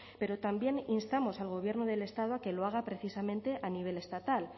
pero también instamos al gobierno del estado a que lo haga precisamente a nivel estatal